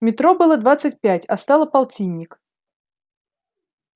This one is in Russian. метро было двадцать пять а стало полтинник